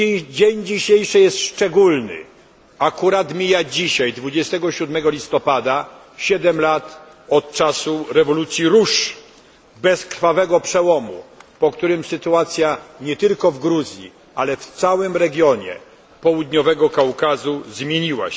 Dzień dzisiejszy jest szczególny akurat dzisiaj, 23 listopada, mija siedem lat od czasu rewolucji róż bezkrwawego przełomu, po którym sytuacja nie tylko w Gruzji, ale w całym regionie Południowego Kaukazu uległa zmianie.